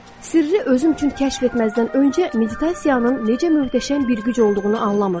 Sirri özüm üçün kəşf etməzdən öncə, meditasiyanın necə möhtəşəm bir güc olduğunu anlamırdım.